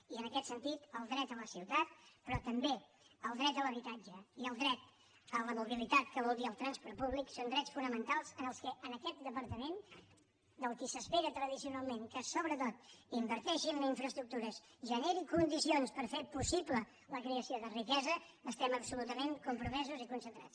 i en aquest sentit el dret a la ciutat però també el dret a l’habitatge i el dret a la mobilitat que vol dir el transport públic són drets fonamentals amb què en aquest departament de qui s’espera tradicionalment que sobretot inverteixi en infraestructures generi condicions per fer possible la creació de riquesa estem absolutament compromesos i concentrats